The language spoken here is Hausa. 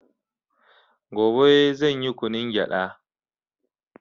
Gobe zanyi kunun gyada